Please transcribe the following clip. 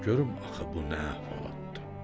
Görüm axı bu nə əhvalatdır?